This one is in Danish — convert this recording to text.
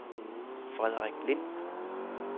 Frederik Lind